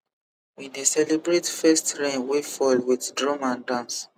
we dey celebrate first rain wey fall with drum and dance